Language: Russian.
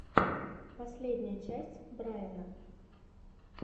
последняя часть брайна